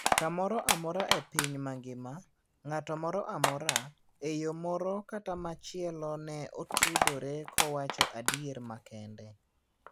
Kamoro amora epiny mangima ,ng'ato moro amora, eyo moro kata machielo ne otudore kowacho adier makende.